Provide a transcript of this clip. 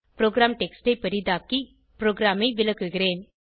program text ஐ பெரிதாக்கி ப்ரோகிராமை விளக்குகிறேன்